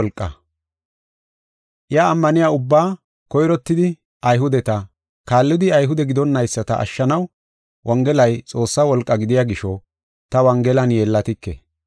Iya ammaniya ubbaa, koyrottidi Ayhudeta, kaallidi Ayhude gidonnayisata ashshanaw Wongelay Xoossaa wolqaa gidiya gisho, ta Wongelan yeellatike.